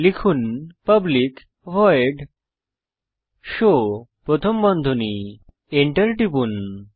লিখুন public void show প্রথম বন্ধনী এন্টার টিপুন